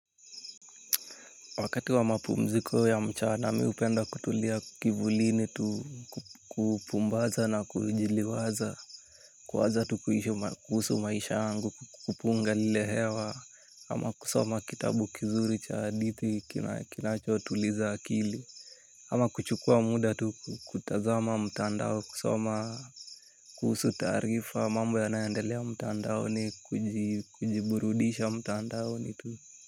Wakati wa mapumziko ya mchana mi hupenda kutulia kivulini tu kupumbaza na kujiliwaza. Kuwaza tu kuhusu maisha yangu, kupunga lile hewa ama kusoma kitabu kizuri cha hadithi kinachotuliza akili. Ama kuchukua muda tu kutazama mtandao kusoma kuhusu taarifa mambo yanayoendelea mtandaoni kujiburudisha mtandao ni tu.